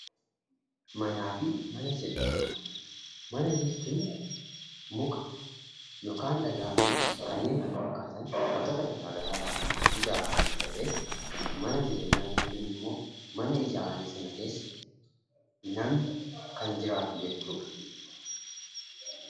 Manaa fi Mana Jireenyaa: Mana jechuun muka, yookaan dhagaa fi kanneen kana fakkaatan wantoota garaagaraa irraa ijaaraman ta'ee, mana jireenyaa jechuun immoo mana ijaarame sana keessa namni kan jiraatu jechuu dha.